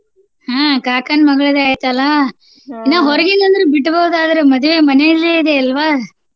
ಹ್ಮ್ ಕಾಕಾನ್ ಮಗಳ್ದ ಐತಲ್ಲಾ ಹೊರಗಿಂದ ಅಂದ್ರ ಬಿಡ್ಬಹುದ್ ಆದ್ರ ಮದ್ವೆ ಮನೆಯಲ್ಲೆ ಇದೆ ಅಲ್ವಾ?